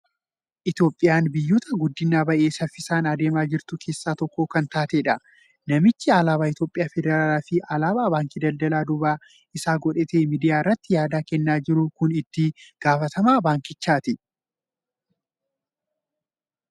Itoophiyaan biyyoota guddinaan baay'ee saffisaan adeemaa jirtu keessaa tokko kan taatedha. Namichi alaabaa Mootummaa Federaalaa fi alaabaa Baankii Daldalaa duuba isaa godhatee miidiyaa irratti yaada kennaa jiru kun itti gaafatamaa baankichaati.